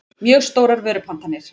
mjög stórar vörupantanir.